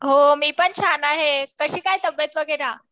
हो मी पण छान आहे. कशी काय तब्येत वगैरे?